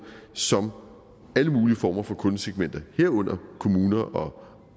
som alle mulige former for kundesegmenter herunder kommuner og